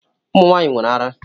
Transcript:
Ụmụ nwaanyị nwere árá.